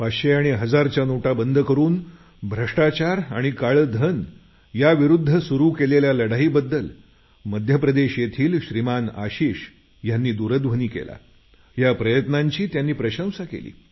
पाचशे आणि हजारच्या नोटा बंद करून भ्रष्टाचार आणि काळे धन याविरुद्ध सुरू केलेल्या लढाईबद्दल मध्य प्रदेश येथील श्रीमान आशिष यांना दूरध्वनी केला या प्रयत्नांची त्यांनी प्रशंसा केली